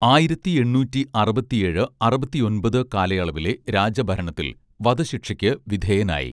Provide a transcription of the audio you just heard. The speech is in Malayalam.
ആയിരത്തി എണ്ണൂറ്റി അറുപത്തിയേഴ് അറുപത്തിയൊൻപത് കാലയളവിലെ രാജഭരണത്തിൽ വധശിക്ഷയ്ക്കു വിധേയനായി